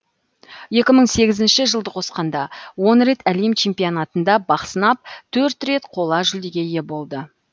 екі мың сегізінші жылды қосқанда он рет әлем чемпионатында бақ сынап төрт рет қола жүлдеге ие болды